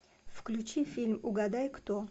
включи фильм угадай кто